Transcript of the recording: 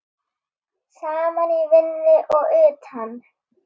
Saman í vinnu og utan.